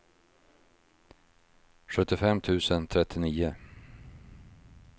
sjuttiofem tusen trettionio